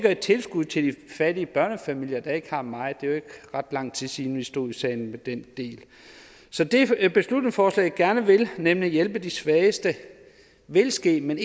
et tilskud til de fattige børnefamilier der ikke har meget det er jo ikke ret lang tid siden vi stod i salen med den del så det beslutningsforslaget gerne vil nemlig hjælpe de svageste vil ske men